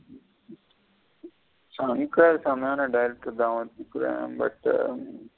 சங்கர் செமையான director தா ஒத்துதுக்குர but ம்.